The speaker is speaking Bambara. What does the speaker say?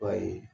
Ba ye